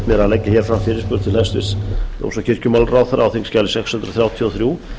að leggja hér fram fyrirspurn til hæstvirts dóms og kirkjumálaráðherra á þingskjali sex hundruð þrjátíu og þrjú